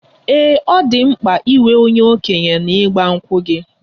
Ee, ọ dị mkpa inwe onye okenye na igba nkwu gị?